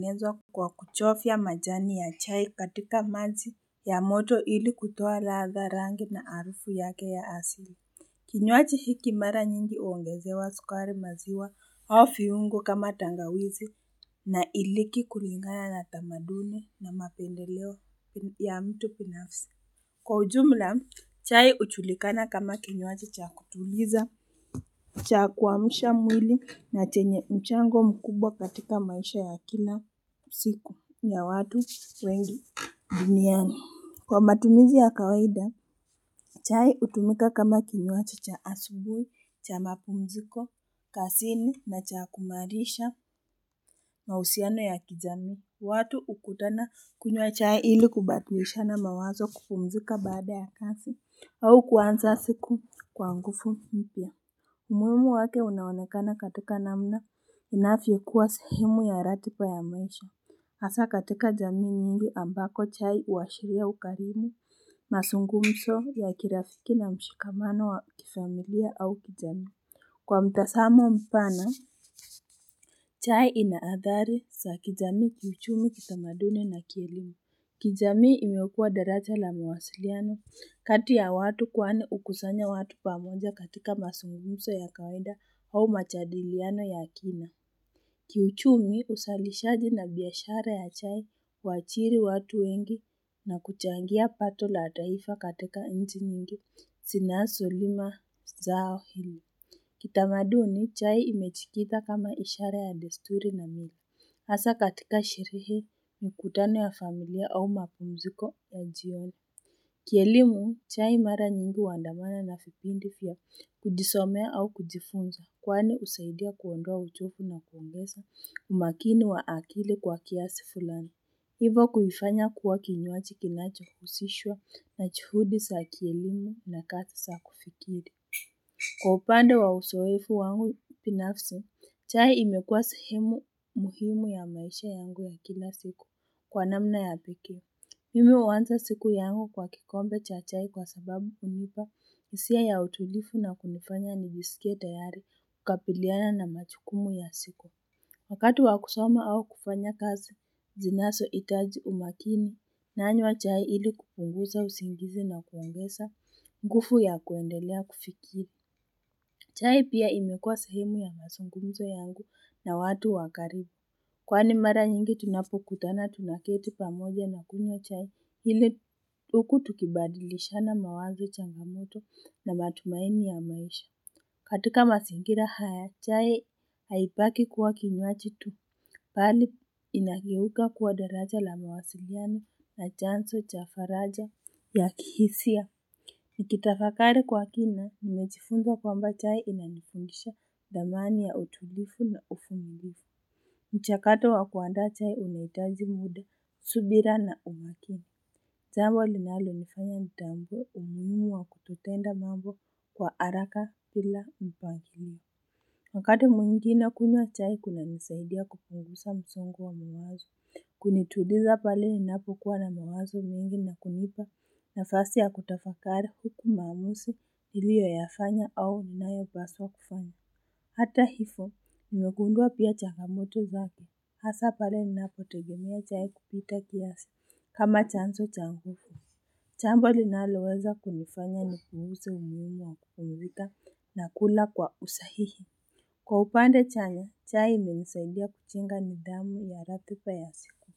Naezwa kwa kuchovya majani ya chai katika maji ya moto ili kutoa ladha rangi na harufu yake ya asili. Kinywaji hiki mara nyingi huongezewa sukari maziwa au viungo kama tangawizi na iliki kulingana na tamaduni na mapendeleo ya mtu binafsi Kwa ujumla chai hujulikana kama kinywaji cha kutuliza cha kuamsha mwili na chenye mchango mkubwa katika maisha ya kina siku ya watu wengi duniani Kwa matumizi ya kawaida chai hutumika kama kinywaji cha asubui cha mapumziko kazini na cha kumiarisha mahusiano ya kijami watu hukutana kunywa chai ili kubadilishana mawazo kupumzika baada ya kazi au kuanza siku kwa nguvu mpya muhimu wake unaonekana katika namna inavyo kuwa sahemu ya ratiba ya maisha hasa katika jamii nyingi ambako chai huashiria ukarimu mazungumzo ya kirafiki na mshikamano wa kifamilia au kijami Kwa mtazamo mpana chai ina athari za kijami kiuchumi kitamaduni na kielimu kijamii imeokua daraja la mawasiliano kati ya watu kwani hukusanya watu pamoja katika mazungumzo ya kawaida au majadilioano ya kina Kiuchumi uzalishaji na biashara ya chai waajiri watu wengi na kuchangia pato la taifa katika nchi nyingi zinazolima zao hili Kitamaduni chai imejitika kama ishara ya desturi na hasa katika sherehe mkutano ya familia au mapumziko ya jioni Kielimu chai mara nyingi huandamana na vipindi vya kujisomea au kujifunza. Kwani husaidia kuondoa uchovu na kuongeza umakini wa akili kwa kiasi fulani Hivo kuifanya kuwa kinywaji kinacho husishwa na juhudi za kielimu na kazi za kufikiri Kwa upande wa uzowefu wangu binafsi chai imekuwa sahemu muhimu ya maisha yangu ya kila siku kwa namna ya pekee Mimi huanza siku yangu kwa kikombe cha chai kwa sababu hunipa hisia ya utulivu na kunifanya nijisikie tayari kukabiliana na majukumu ya siku wakati wakusoma au kufanya kazi zinazo hitaji umakini nanywa chai ili kupunguza usingizi na kuongeza nguvu ya kuendelea kufikiri chai pia imekua sahemu ya mazungumzo yangu na watu wa karibu Kwani mara nyingi tunapokutana tunaketi pamoja na kunywa chai ili uku tukibadilishana mawazo changamoto na matumaini ya maisha katika mazingira haya chai haibaki kuwa kinywaji tu bali li inakiuka kuwa daraja la mawasiliani na chanzo cha faraja ya kihisia Nikitafakari kwa kina nimejifunza kwamba chai inanifundisha dhamani ya utulivu na uvumilifu mchakato wa kuaanda chai unahitaji muda subira na umakini jambo linalo nifanya nitambue umuhimu wa kutotenda mambo kwa haraka bila mpangilio Wakati mwingine kunywa chai kuna nisaidia kupunguza msongo wa mawazo Kunituliza pale ninapo kuwa na mawazo mengi na kunipa nafasi ya kutafakari huku maamuzi niliyo yafanya au nayo paswa kufanya Hata hivyo nimegundua pia changamoto zake hasa pale ninapotegemea chai kupita kiasi kama chanzo cha nguvu jambo linaloweza kunifanya nipuuze umuhimu wa kupumzika na kula kwa usahihi Kwa upande chanya chai imenisaidia kujenga nidhamu ya ratiba ya siku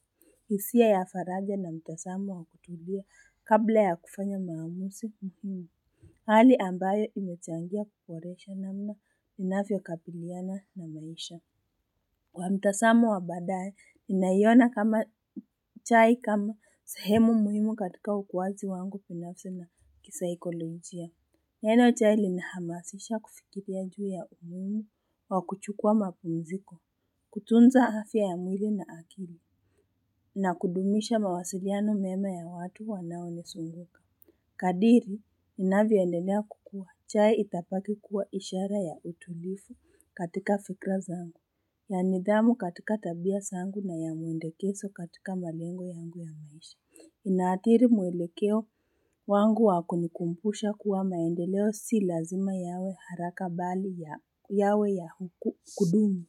hisia ya faraja na mtazamo wa kutulia kabla ya kufanya maamuzi Hali ambayo imechangia kuboresha namna ninavyokabiliana na maisha Kwa mtazamo wa baadae ninaiona chai kma sehemu muhimu katika ukuaji wangu na kisaikologia Neno chai limehamasisha kufikiria juu ya umuhimu wa kuchukua mapumziko kutunza afya ya mwili na akili na kudumisha mawasiliaono mema ya watu wanao nizunguka Kadiri inavyoendelea kukua chai itabaki kuwa ishara ya utulivu katika fikira zangu ya nidhamu katika tabia zangu na ya mwelekezo katika malengo yangu ya maisha Inaathiri mwelekeo wangu wa kunikumbusha kuwa maendeleo si lazima yawe haraka bali yawe ya kudumu.